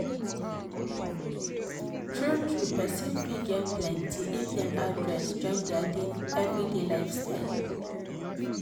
true-true person fit gain plenty if dem add rest join their everyday lifestyle.